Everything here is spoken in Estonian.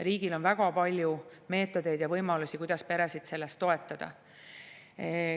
Riigil on väga palju meetodeid ja võimalusi, kuidas peresid selles toetada.